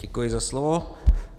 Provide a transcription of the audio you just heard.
Děkuji za slovo.